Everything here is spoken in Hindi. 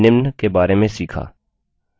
संक्षेप में हमने निम्न बारे में सीखा